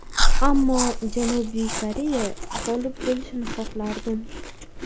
Ammo Janubiy Koreya g‘olib bo‘lishini xohlardim.